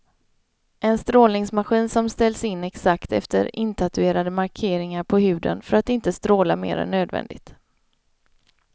En strålningsmaskin som ställs in exakt efter intatuerade markeringar på huden för att inte stråla mer än nödvändigt.